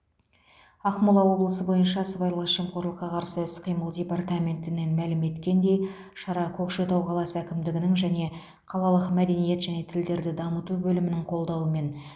ақмола облысы бойынша сыбайлас жемқорлыққа қарсы іс қимыл департаментінен мәлім еткендей шара көкшетау қаласы әкімдігінің және қалалық мәдениет және тілдерді дамыту бөлімінің қолдауымен